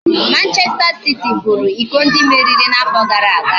Manchester City buru iko ndị mmeri na-afọ gara aga